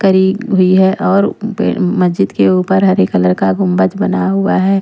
करी हुई है और मस्जिद के ऊपर हरे कलर का गुंबज बना हुआ है।